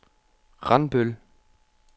Randbøl